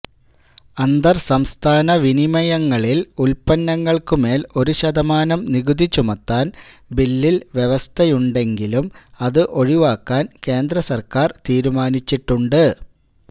അന്തര്സംസ്ഥാന വിനിമയങ്ങളിൽ ഉല്പങ്ങൾക്കുമേൽ ഒരു ശതമാനം നികുതി ചുമത്താൻ ബില്ലിൽ വ്യവസ്ഥയുണ്ടെങ്കിലും അത് ഒഴിവാക്കാൻ കേന്ദ്ര സര്ക്കാർ തീരുമാനിച്ചിട്ടുണ്ട്